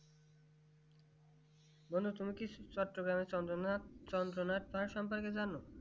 বোলো তুমি কি চন্দ্রনাথ চন্দ্রনাথ তার সম্পর্কে জানো